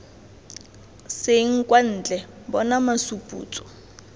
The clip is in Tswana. seng kwa ntle bona masuputso